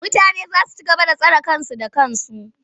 Mutane za su ci gaba da tsare kansu da kansu.